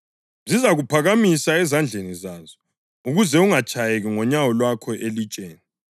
zizakuphakamisa ezandleni zazo, ukuze ungatshayeki ngonyawo lwakho elitsheni.’ + 4.11 AmaHubo 91.11-12”